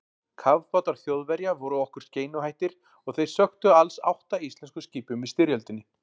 Kafbátar Þjóðverja voru okkur skeinuhættir og þeir sökktu alls átta íslenskum skipum í styrjöldinni.